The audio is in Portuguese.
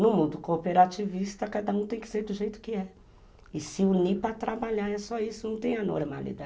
No mundo cooperativista, cada um tem que ser do jeito que é. E se unir para trabalhar é só isso, não tem a normalidade.